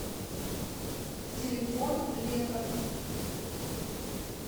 телефон летов